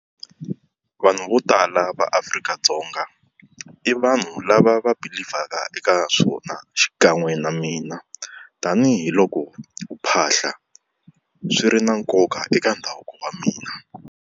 Vanhu vo tala va Afrika-Dzonga i vanhu lava va believe-vhaka eka swona xikan'we na mina tanihiloko ku phahla swi ri na nkoka eka ndhavuko wa mina.